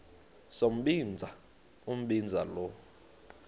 sombinza umbinza lo